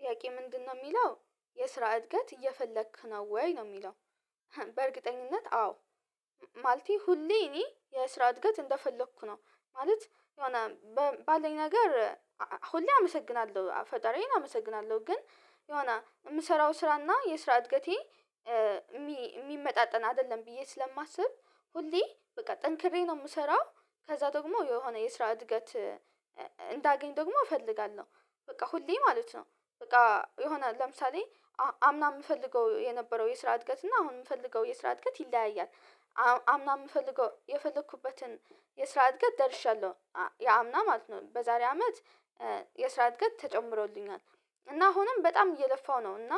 ጥያቄ ምንድነው ሚለው የስራ እድገት እየፈለክ ነው ወይ ነው የሚለው? በእርግጠኝነት አዎ። ማለቴ ሁሌ እኔ የስራ እድገት እንደፈለኩ ነው ማለት የሆነ ባለኝ ነገር ሁሌ አመሰግናለሁ ፈጣሪዬን አመሰግናለሁ። ግን የሆነ የምሰራው ስራና የስራ እድገቴ። የሚመጣጠን አይደለም ብዬ ስለማስብ ሁሌ በቃ ጠንክሬ ነው የምሰራው። ከዛ ደግሞ የሆነ የስራ እድገት እንዳገኝ ደግሞ እፈልጋለሁ። በቃ ሁሌ ማለት ነው በቃ የሆነ ለምሳሌ አምና የምፈልገው የነበረው የስራ እድገት እና አሁን የምፈልገው የስራ እድገት ይለያያል። አምና የምፈልገው የፈለኩበትን የስራ እድገት ደርሻለሁ። ያ አምና ማለት ነው በዛሬ አመት የስራ እድገት ተጨምሮልኛል። እና አሁንም በጣም እየለፋው ነው እና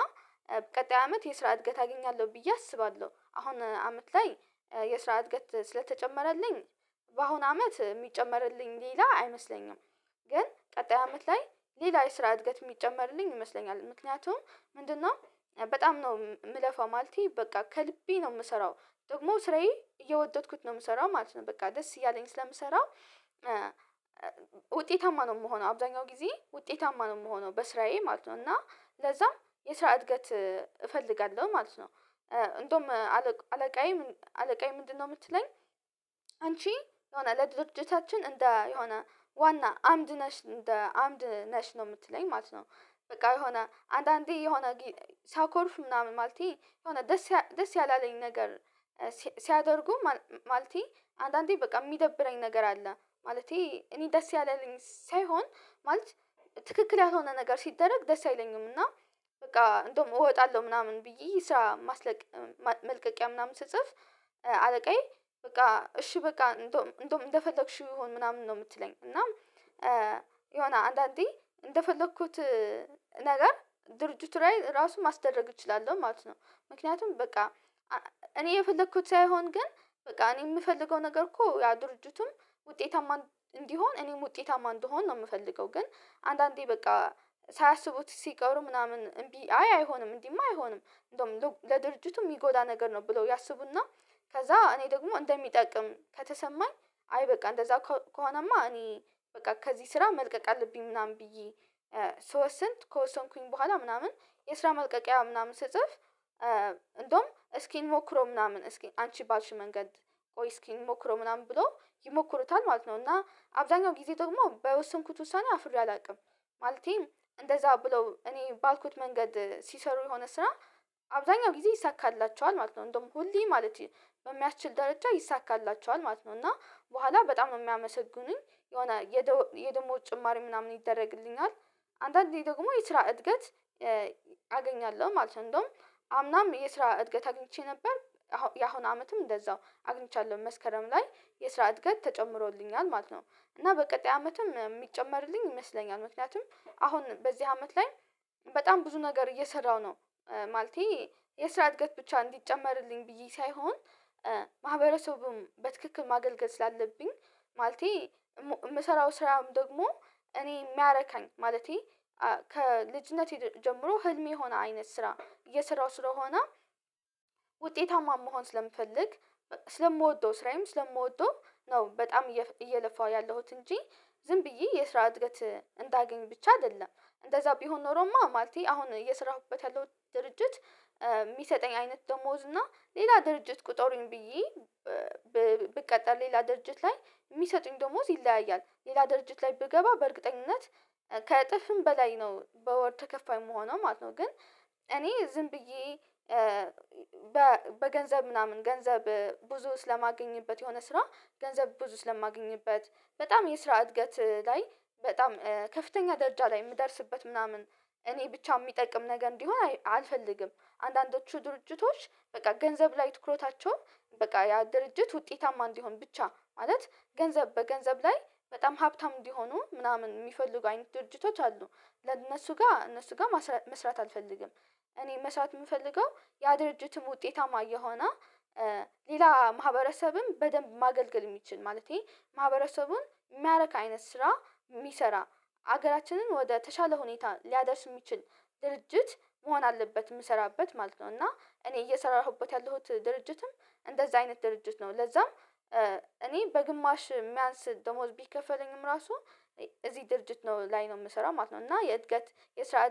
ቀጣይ አመት የስራ እድገት አገኛለሁ ብዬ አስባለሁ። አሁን አመት ላይ የስራ እድገት ስለተጨመረልኝ በአሁን አመት ሚጨመርልኝ ሌላ አይመስለኝም። ግን ቀጣይ አመት ላይ ሌላ የስራ እድገት የሚጨመርልኝ ይመስለኛል። ምክንያቱም ምንድነው በጣም ነው ምለፈው ማለቴ በቃ ከልቤ ነው ምሰራው ደግሞ ስራዬ እየወደድኩት ነው ምሰራው ማለት ነው በቃ ደስ እያለኝ ስለምሰራው። ውጤታማ ነው ምሆነው አብዛኛው ጊዜ ውጤታማ ነው ምሆነው በስራዬ ማለት ነው እና ለዛም የስራ እድገት እፈልጋለሁ ማለት ነው። እንደውም አለቃዬ አለቃዬ ምንድነው ምትለኝ? አንቺ የሆነ ለድርጅታችን እንደ የሆነ ዋና አምድ ነሽ እንደ አምድ ነሽ ነው ምትለኝ ማለት ነው። በቃ የሆነ አንዳንዴ የሆነ ሲያኮርፍ ምናምን ማለቴ የሆነ ደስ ያለኝ ነገር። ሲያደርጉ ማለቴ አንዳንዴ በቃ የሚደብረኝ ነገር አለ ማለቴ እኔ ደስ ያለልኝ ሳይሆን ማለት ትክክል ያልሆነ ነገር ሲደረግ ደስ አይለኝም። እና በቃ እንደውም እወጣለሁ ምናምን ብዬ ስራ መልቀቂያ ምናምን ስጽፍ። አለቃዬ በቃ እሺ በቃ እንዶም እንደፈለክሽው ይሁን ምናምን ነው የምትለኝ እና። የሆነ አንዳንዴ እንደፈለኩት ነገር ድርጅቱ ላይ ራሱ ማስደረግ እችላለሁ ማለት ነው። ምክንያቱም በቃ እኔ የፈለኩት ሳይሆን ግን በቃ እኔ የምፈልገው ነገር እኮ ያ ድርጅቱም ውጤታማ እንዲሆን እኔም ውጤታማ እንድሆን ነው የምፈልገው። ግን አንዳንዴ በቃ ሳያስቡት ሲቀሩ ምናምን አይ አይሆንም እንዲህማ አይሆንም እንደውም ለድርጅቱ ሚጎዳ ነገር ነው ብለው ያስቡና ከዛ እኔ ደግሞ እንደሚጠቅም ከተሰማኝ አይ በቃ እንደዛ ከሆነማ እኔ በቃ ከዚህ ስራ መልቀቅ አለብኝ። ምናምን ብዬ ስወስን ከወሰንኩኝ በኋላ ምናምን የስራ ማልቀቂያ ምናምን ስጽፍ። እንደውም እስኪ እንሞክሮው ምናምን እስኪን አንቺ ባልሽ መንገድ ቆይ እስኪ ሞክሮ ምናምን ብሎ ይሞክሩታል ማለት ነው። እና አብዛኛው ጊዜ ደግሞ በወሰንኩት ውሳኔ አፍሬ አላቅም። ማለቴም እንደዛ ብለው እኔ ባልኩት መንገድ ሲሰሩ የሆነ ስራ አብዛኛው ጊዜ ይይሳካላቸዋል ማለት ነው። እንደውም ሁሌ ማለት በሚያችል ደረጃ ይይሳካላቸዋል ማለት ነው። እና በኋላ በጣም ነው የሚያመሰግኑኝ የሆነ የደሞዝ ጭማሪ ምናምን ይደረግልኛል። አንዳአንዴት ደግሞ የስራ እድገት አገኛለሁ ማለት ነው። እንደውም አምናም የስራ እድገት አግኝቼ ነበር። ያሁን አመትም እንደዛው አግኝቻለሁ መስከረም ላይ የስራ እድገት ተጨምሮልኛል ማለት ነው። እና በቀጣይ አመትም ሚጨመርልኝ ይመስለኛል ምክንያቱም አሁን በዚህ አመት ላይ በጣም ብዙ ነገር እየሰራው ነው። ማለቴ የስራ እድገት ብቻ እንዲጨመርልኝ ብዬ ሳይሆን። ማህበረሰቡም በትክክል ማገልገል ስላለብኝ ማለቴ የምሰራው ስራም ደግሞ እኔ ሚያረካኝ ማለቴ ከልጅነቴ ጀምሮ ህልሜ የሆነ አይነት ስራ እሰራው ስለሆነ። ውጤታማ መሆን ስለምፈልግ ስለምወደው ስራዬም ስለምወደው ነው በጣም እየለፋሁ ያለሁት እንጂ። ዝም ብዬ የስራ እድገት እንዳገኝ ብቻ አይደለም። እንደዛ ቢሆን ኖሮማ ማለቴ አሁን እየሰራሁበት ያለሁት ድርጅት። ሚሰጠኝ አይነት ደሞዝ እና ሌላ ድርጅት ቁጠሩኝ ብዬ። ብቀጠር ሌላ ድርጅት ላይ የሚሰጡኝ ደሞዝ ይለያያል ሌላ ድርጅት ላይ ብገባ በእርግጠኝነት ከጥፍም በላይ ነው በወር ተከፋይ ምሆነው ማለት ነው። ግን እኔ ዝም ብዬ በገንዘብ ምናምን ገንዘብ ብዙ ስለማገኝበት የሆነ ስራ ገንዘብ ብዙ ስለማገኝበት። በጣም የስራ እድገት ላይ በጣም ከፍተኛ ደረጃ ላይ የምደርስበት ምናምን እኔ ብቻ ሚጠቅም ነገር እንዲሆን አልፈልግም። አንዳንዶቹ ድርጅቶች በቃ ገንዘብ ላይ ትኩረታቸውን በቃ ያ ድርጅት ውጤታማ እንዲሆን ብቻ ማለት ገንዘብ በገንዘብ ላይ በጣም ሀብታም እንዲሆኑ ምናምን የሚፈልጉ አይነት ድርጅቶች አሉ። ለእነሱ ጋር እነሱ ጋር መስራት አልፈልግም። እኔ መስራት የምፈልገው ያ ድርጅትም ውጤታማ እየሆነ ሌላ ማህበረሰብም በደንብ ማገልገል ሚችል ማለቴ ማህበረሰቡን ሚያረክ አይነት ስራ ሚሰራ ሀገራችንን ወደ ተሻለ ሁኔታ ሊያደርስ ሚችል ድርጅት መሆን አለበት ምሰራበት ማለት ነው። እና እኔ እየሰራሁበት ያለሁት ድርጅትም እንደዛ አይነት ድርጅት ነው ለዛም እኔ በግማሽ ሚያንስ ደሞዝ ቢከፈለኝም ራሱ እዚህ ድርጅት ነው ላይ ነው የምሰራው ማለት ነው። እና የእድገት የስራ